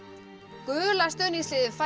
gula stuðningsliðið fær